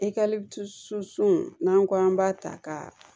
I ka n'an ko an b'a ta ka